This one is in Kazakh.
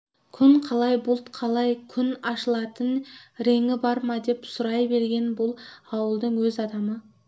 күн қалай бұлт қалай күн ашылатын реңі бар ма деп сұрай берген бұл ауылдың өз адамы